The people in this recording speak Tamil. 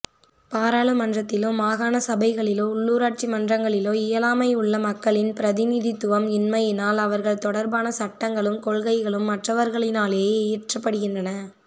பாராளுமன்றத்திலோ மாகாணசபைகளிலோ உள்ளூராட்சிமன்றங்களிலோ இயலாமையுள்ளமக்களின் பிரதிநிதித்துவம் இன்மையினால் அவர்கள் தொடர்பானசட்டங்களும் கொள்கைகளும் மற்றவர்களினாலேயே இயற்றப்படுகின்றன